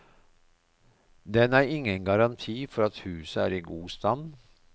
Den er ingen garanti for at huset er i god stand.